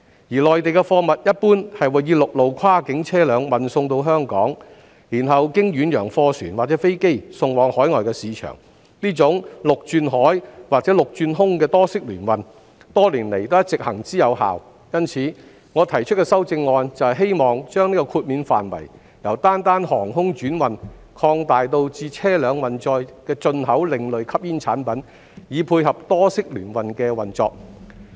而內地的貨物一般會以陸路跨境車輛運送到香港，然後經遠洋貨船或飛機送往海外市場，這種陸轉海或陸轉空的多式聯運，多年來一直行之有效，因此，我提出的修正案就是希望將豁免範圍由單單航空轉運擴大至車輛運載的進口另類吸煙產品，以配合多式聯運的運作。